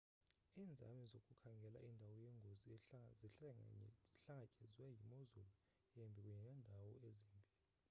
iinzame zokukhangela indawo yengozi zihlangatyezwa yimozulu embi kunye neendawo ezimbi